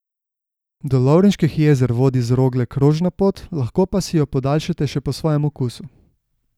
Do Lovrenških jezer vodi z Rogle krožna pot, lahko pa si jo podaljšate še po svojem okusu.